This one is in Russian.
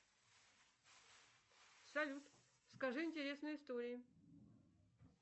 салют скажи интересные истории